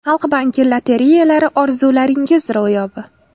Xalq banki lotereyalari orzularingiz ro‘yobi!